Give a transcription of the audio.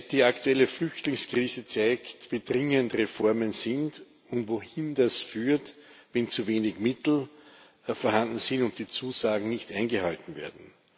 Die aktuelle Flüchtlingskrise zeigt, wie dringend Reformen sind und wohin es führt, wenn zu wenig Mittel vorhanden sind und die Zusagen nicht eingehalten werden.